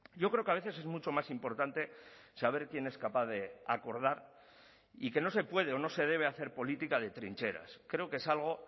yo creo que a veces es mucho más importante saber quién es capaz de acordar y que no se puede o no se debe hacer política de trincheras creo que es algo